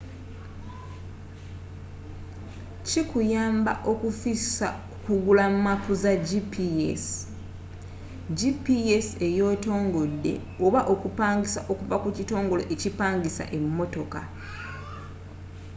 kikuyamba okufissa ku kugula maapu za gps gps eyeetongodde oba okupangisa okuva ku kitongole ekipangisa emmotoka